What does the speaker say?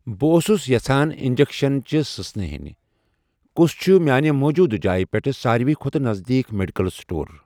بہٕ اوسُس یژھان اِنٛجیٚکشَن چہِ سٕژنہٕ ہٮ۪ن، کُس چھُ میانہِ موٗجوٗدٕ جایہِ پٮ۪ٹھ ساروِی کھۄتہٕ نزدیٖک میڈیکل سٹور؟